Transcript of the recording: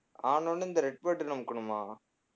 ஆன உடனே இந்த red button அமுக்கணுமா